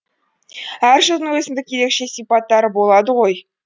әр жылдың өзіндік ерекше сипаттары болады ғой